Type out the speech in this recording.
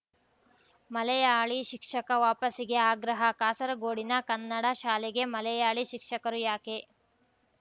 ಮಲಯಾಳಿ ಶಿಕ್ಷಕ ವಾಪಸಿಗೆ ಆಗ್ರಹ ಕಾಸರಗೋಡಿನ ಕನ್ನಡ ಶಾಲೆಗೆ ಮಲೆಯಾಳಿ ಶಿಕ್ಷಕರು ಯಾಕೆ